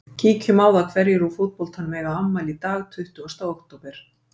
Kíkjum á það hverjir úr fótboltanum eiga afmæli í dag tuttugasta október.